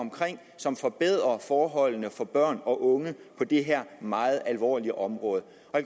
som forbedrer forholdene for børn og unge på det her meget alvorlige område